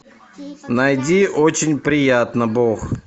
найди очень приятно бог